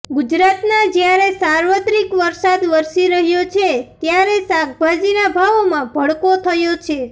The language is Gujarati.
ગુજરાતમાં જ્યારે સાર્વત્રિક વરસાદ વરસી રહ્યો છે ત્યારે શાકભાજીના ભાવોમાં ભડકો થયો છે